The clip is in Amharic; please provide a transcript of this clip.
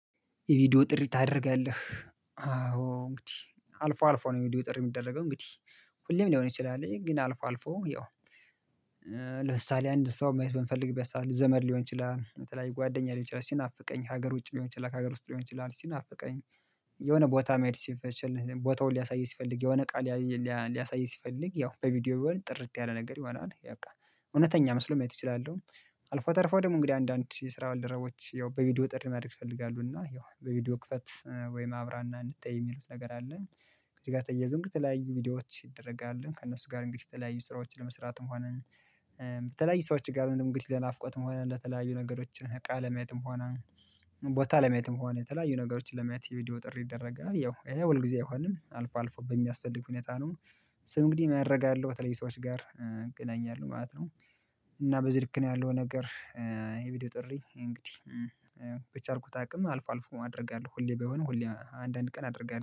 የቪዲዮ ጥሪ ታደርጋለህ አዎ እንግዲህ አልፎ አልፎ ነው የቪዲዮ ጥሪ የሚደረገው እንግዲህ ሁሌም ሊሆን ይችላል ግን አልፎ አልፎ ያው ለምሳሌ አንድ ሰው ማየት በምፈልግበት ሰዓት ዘመድ ሊሆን ይችላል በተለይ ጓደኛ ሊሆን ይችላል ሲናፍቀኝ ሀገር ውጪ ሊሆን ይችላል ሀገር ውስጥ ሊሆን ይችላል ሲናፍቀኝ የሆነ ቦታ መድሰፍ ቦታውን ሊያሳይ ሲፈልግ የሆነ እቃ ሊያሳይ ሲፈልግ ያው በቪዲዮ የሆነ ጥርት ያለ ነገር ይሆናል በቃ እውነተኛ መስሎም ማየት እችላለሁ አልፎ ተርፎ ደግሞ እንግዲህ አንዳንድ የስራ ባልደረቦች ያው በቪዲዮ ጥሪ ማድረግ ይፈልጋሉ እና ያው በቪዲዮ ክፈት ወይም አብራና እንተያይ የሚሉት ነገር አለ ከዚህ ጋር ተያይዞ እንድትለያዩ ቪዲዮዎች የተደረገአለ ከእነሱ ጋር የተለያዩ ስራዎችን ለመስራትም ሆነ የተለያዩ ሰዎችም ጋር እንግዲህ ለናፍቆትም ሆነ ለተለያዩ ነገሮችን እቃ ለማየትም፤ ሆነ ቦታ ለማየትም ከሆነ፤ የተለያዩ ነገሮችን ለማየት የቪዲዮ ጥሪ ይደረጋል። ያው ይሄ ሁልጊዜ አይሆንም። አልፎ አልፎ በሚያስፈልግ ሁኔታ ነው። እእሱም እንግዲህ ምን ያረጋል? የተለያዩ ሰዎች ጋር ያገናኛል ማለት ነው እና በዚህ ልክ ነው ያለው ነገር። ይሄ ቪዲዮ ጥሪ እንግዲህ በቻልኩት አቅም አልፎ አልፎ አደርጋለሁ። ሁሌ ባይሆንም ሁሌ አንዳንድ ቀን አደርጋለሁ።